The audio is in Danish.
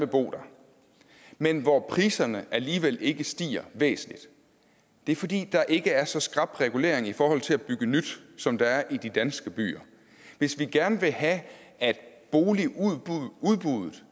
bo der men hvor priserne alligevel ikke stiger væsentligt det er fordi der ikke er så skrap en regulering i forhold til at bygge nyt som der er i de danske byer hvis vi gerne vil have at boligudbuddet